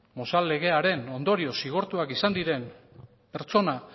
mozal legearen ondorioz zigortuak izan diren pertsona